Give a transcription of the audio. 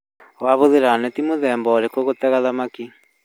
Wahũthĩra neti mũthemba ũrĩkũ gũtega thamaki?